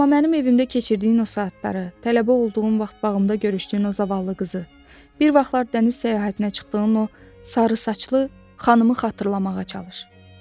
Amma mənim evimdə keçirdiyin o saatları, tələbə olduğun vaxt bağımda görüşdüyün o zavallı qızı, bir vaxtlar dəniz səyahətinə çıxdığın o sarı saçlı xanımı xatırlamağa çalış.